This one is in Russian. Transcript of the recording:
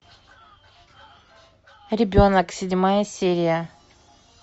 ребенок седьмая серия